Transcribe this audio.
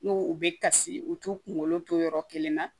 N ko u bɛ kasi u t'u kunkolo to yɔrɔ kelen na